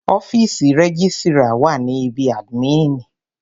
Ọ́fìsì rẹ́gísrà wà ní ibí àdmínìì.